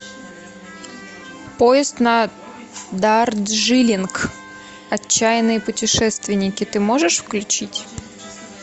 поезд на дарджилинг отчаянные путешественники ты можешь включить